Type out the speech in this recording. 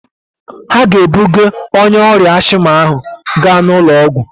Ha ga-ebuga onye ọrịa asthma ahụ gaa ụlọ ọgwụ